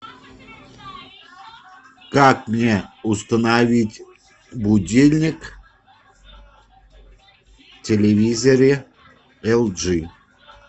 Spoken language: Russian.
как мне установить будильник в телевизоре эл джи